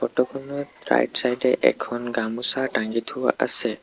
ফটোখনত ৰাইট ছাইডে এখন গামোচা তাঙী থোৱা আছে।